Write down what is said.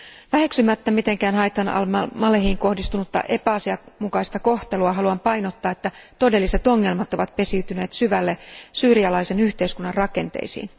Väheksymättä mitenkään Haytham Al Malehiin kohdistunutta epäasianmukaista kohtelua haluan painottaa, että todelliset ongelmat ovat pesiytyneet syvälle syyrialaisen yhteiskunnan rakenteisiin.